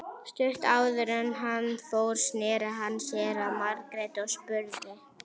Stuttu áður en hann fór sneri hann sér að Margréti og spurði